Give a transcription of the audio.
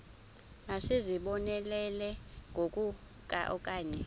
masizibonelele ngoku okanye